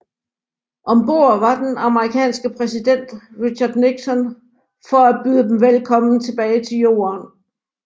Om bord var den amerikanske præsident Richard Nixon for at byde dem velkommen tilbage til Jorden